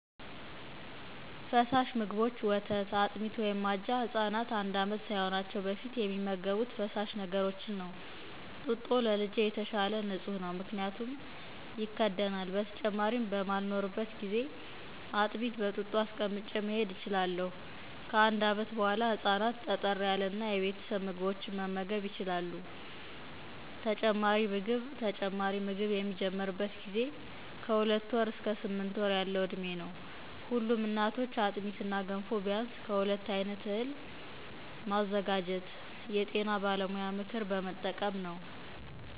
ፈሰሽ ምግቦች ወተት፣ አጥሚት(አጃ)“ህፃናት አንዴ ዓመት ሳይሆናቸው በፊት የሚመገቡት ፈሳሽ ነገሮችን ነው። ጡጦ ከእጄ የተሻሇ ንጽህ ነው ምክንያቱም ይከዲናሌ። በተጨማሪም በማሌኖርበት ጊዜ አጥሚት በጡጦ አስቀምጬ መሄዴ እችሊሇሁ። ከአንዴ ዓመት በኋሊ ህፃናት ጠጠር ያለ እና የቤተሰብ ምግቦችን መመገብ ይችሊለ።” (በሚሻ የምትገኝ እናት) ተጨማሪ ምግብ  ተጨማሪ ምግብ የሚጀመርበት ጊዜ ከ2ወር አስከ 8 ወር ያሇው ዕዴሜ ነው።  ሁለም እናቶች አጥሚት እና ገንፎ ቢያንስ ከሁለት አይነት እህሌ መዘጋጀት። የጤና በለሙያ ሞክር በመጠቀም ነው